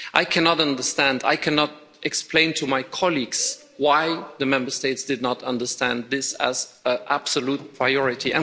I cannot understand I cannot explain to my colleagues why the Member States did not understand this as an absolute priority.